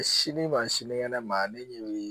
Sini ma sinikɛnɛ ma ne bɛ